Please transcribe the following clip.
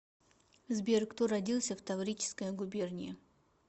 сбер кто родился в таврическая губерния